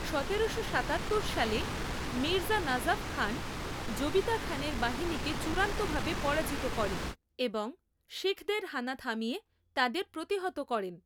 সতেরোশো সাতাত্তর সালে মির্জা নাজাফ খান জবিতা খানের বাহিনীকে চূড়ান্তভাবে পরাজিত করেন এবং শিখদের হানা থামিয়ে তাদের প্রতিহত করেন।